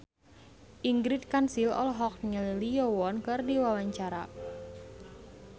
Ingrid Kansil olohok ningali Lee Yo Won keur diwawancara